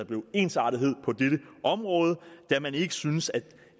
en ensartethed på dette område da man ikke syntes at